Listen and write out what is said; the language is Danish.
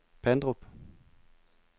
Pandrup